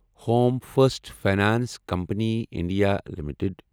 home first finance company India limited